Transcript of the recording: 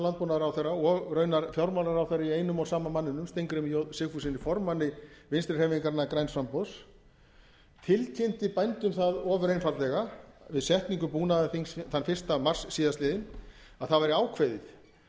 landbúnaðarráðherra og raunar fjármálaráðherra í einum og sama manninum steingrími j sigfússyni formanni vinstri hreyfingarinnar græns framboðs hann tilkynnti bændum það ofur einfaldlega við setningu búnaðarþings þann fyrsta mars síðastliðinn að það væri ákveðið